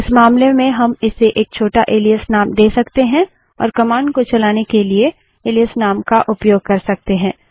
इस मामले में हम इसे एक छोटा एलाइस नाम दे सकते हैं और कमांड को चलाने के लिए एलाइस नाम का उपयोग कर सकते हैं